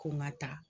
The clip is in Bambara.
Ko n ka taa